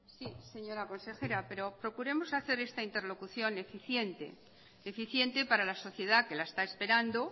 sí señora consejera pero procuremos hacer esta interlocución eficiente eficiente para la sociedad que la está esperando